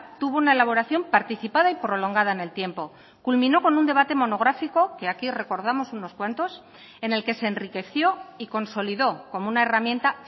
tuvo una elaboración participada y prolongada en el tiempo culminó con un debate monográfico que aquí recordamos unos cuantos en el que se enriqueció y consolidó como una herramienta